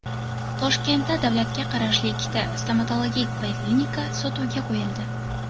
Toshkentda davlatga qarashli ikkita stomatologik poliklinika sotuvga qo‘yildi.